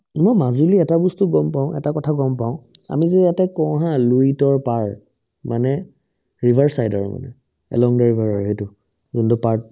ই মই মাজুলিৰ এটা বস্তু গম পাও এটা কথা গম পাও আমি যে এতে কও haa লুইতৰ পাৰ মানে river side আৰু মানে along the river আৰু সেইটো যোনটো part